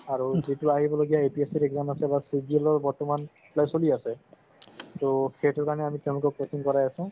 আৰু যিতু আহিব লগিয়া APSC আহি আছে বা CGL ৰ বৰ্তমান চলি আছে ত সেইটো কাৰণে আমি তেওঁলোকক coaching কৰাই আছো